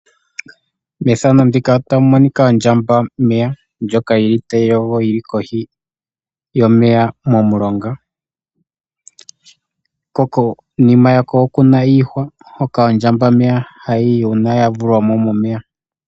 Otuna iinamwenyo oyindji muuyuni muka . Otuna ondjamba yomeya ndjoka hayi kala owala momeya ohayi vulu woo okuzamo etayi yi konima yiihwa.